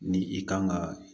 Ni i kan ka